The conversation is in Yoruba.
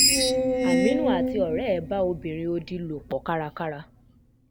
àmínú àti ọ̀rẹ́ ẹ̀ bá ọmọbìnrin òdì lò pọ̀ kárakára